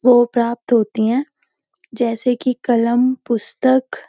वो प्राप्‍त होती है जैसे कि कलम पुस्‍तक --